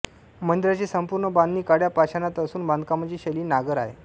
मंदिराची संपूर्ण बांधणी काळ्या पाषाणात असून बांधकामाची शैली नागर आहे